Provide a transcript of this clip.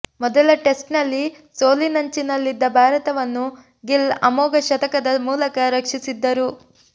ಮೊದಲ ಟೆಸ್ಟ್ನಲ್ಲಿ ಸೋಲಿನಂಚಿನಲ್ಲಿದ್ದ ಭಾರತವನ್ನು ಗಿಲ್ ಅಮೋಘ ಶತಕದ ಮೂಲಕ ರಕ್ಷಿಸಿದ್ದರು